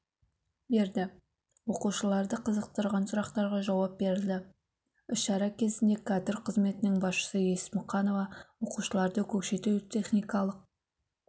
берді оқушыларды қызықтырған сұрақтарға жауап берілді іс-шара кезінде кадр қызметінің басшысы есмұқанова оқушыларды көкшетау техникалық